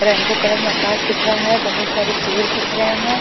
Rainbow colour में अकाश दिख रहा है बहोत सारे पेड़ दिख रहे है।